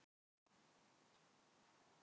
Valgerða, áttu tyggjó?